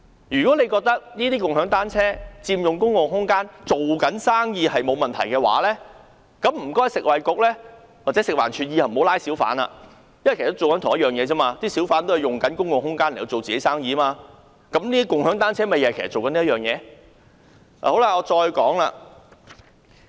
如果政府認為共享單車佔用公共空間是做生意，沒有問題，請食物及衞生局或食物環境衞生署以後不要抓小販，因為小販都是做同樣的事，佔用公共空間來做自己的生意，跟共享單車營辦商一樣。